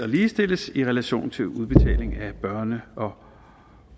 ligestilles i relation til udbetaling af børne og